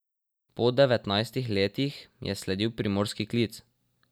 Po devetnajstih letih je sledil primorski klic.